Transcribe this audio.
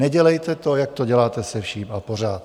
Nedělejte to, jak to děláte se vším a pořád.